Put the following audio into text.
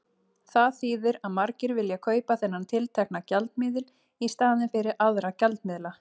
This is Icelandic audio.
Það þýðir að margir vilja kaupa þennan tiltekna gjaldmiðil í staðinn fyrir aðra gjaldmiðla.